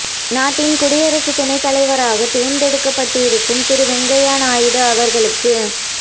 நாட்டின் குடியரசு துணைத் தலைவராக தேர்ந்தெடுக்கப்பட்டிருக்கும் திரு வெங்கையா நாயுடு அவர்களுக்கு